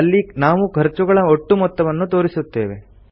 ಅಲ್ಲಿ ನಾವು ಖರ್ಚುಗಳ ಒಟ್ಟು ಮೊತ್ತವನ್ನು ತೋರಿಸುತ್ತೇವೆ